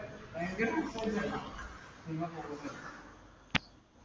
ഭയങ്കര .